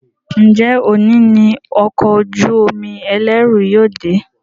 Njé òní ní Ọkọ̀ ojú-omi ẹlẹru yóò dé?